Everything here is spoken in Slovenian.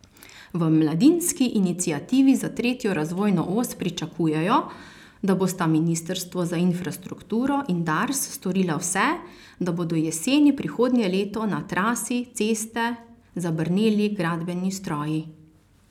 V Mladinski iniciativi za tretjo razvojno os pričakujejo, da bosta ministrstvo za infrastrukturo in Dars storila vse, da bodo jeseni prihodnje leto na trasi ceste zabrneli gradbeni stroji.